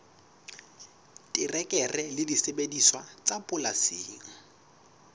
terekere le disebediswa tsa polasing